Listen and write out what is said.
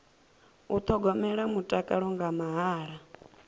u thogomela mutakalo nga mahala